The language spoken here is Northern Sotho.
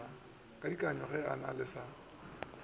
kadiaka na ge ba sa